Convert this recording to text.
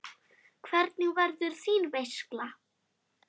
Hvernig verður þín veisla?